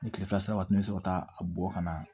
Ni kile fila sera waati min na i bɛ sɔrɔ ka taa a bɔ ka na